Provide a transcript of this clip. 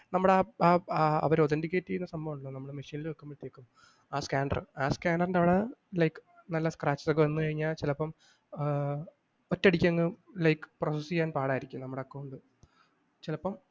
നമ്മടെ അവ അവർ authenticate ചെയ്ത സംഭവം ഉണ്ടല്ലോ നമ്മടെ machine ൽ വെക്കുമ്പോഴത്തേക്കും ആ scanner ആ scanner ൻ്റവിടെ നല്ല like scratches ഒക്കെ വന്നു കഴിഞ്ഞാൽ ചിലപ്പം ആഹ് ഒറ്റയടിക്കങ്ങ് അഹ് like process ചെയ്യാൻ പാടാരിക്കും.